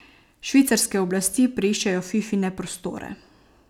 Švicarske oblasti preiščejo Fifine prostore.